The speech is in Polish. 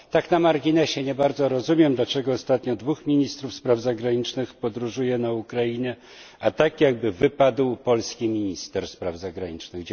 Tak na marginesie, nie bardzo rozumiem, dlaczego ostatnio dwóch ministrów spraw zagranicznych podróżuje na Ukrainę, a tak jakby wypadł polski minister spraw zagranicznych.